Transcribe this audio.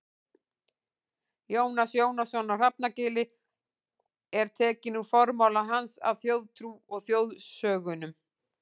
Jónas Jónasson á Hrafnagili og er tekinn úr formála hans að Þjóðtrú og þjóðsögnum.